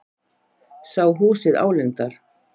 Sá húsið álengdar.